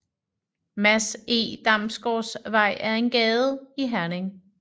Mads Eg Damgaards Vej er en gade i Herning